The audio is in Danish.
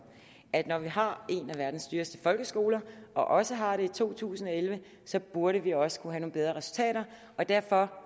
at når vi har en af verdens dyreste folkeskoler og også har det i to tusind og elleve burde vi også kunne få nogle bedre resultater derfor